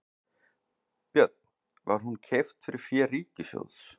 Björn: Var hún keypt fyrir fé ríkissjóðs?